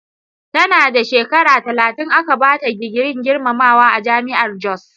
Tana da shekara talatin aka bata digirin girmamawa a Jami'ar Jos.